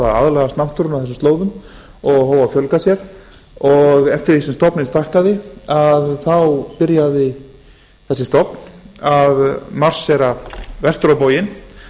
aðlagast náttúrunni á þessum slóðum og hóf að fjölga sér og eftir því sem stofninn stækkaði byrjaði þessi stofn að marséra vestur á bóginn